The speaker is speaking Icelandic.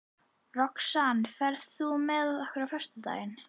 Roxanna, ferð þú með okkur á föstudaginn?